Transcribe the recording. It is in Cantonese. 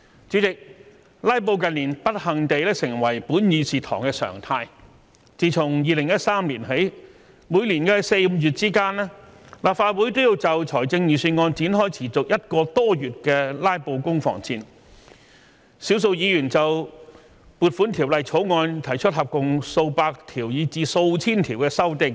主席，"拉布"近年不幸地成為本議事堂的常態，自從2013年起，每年4月、5月之間，立法會均要就財政預算案展開持續1個多月的"拉布"攻防戰，少數議員就《撥款條例草案》提出合共數百項以至數千項的修正案。